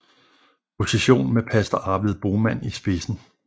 Procession med pastor Arvid Boman i spidsen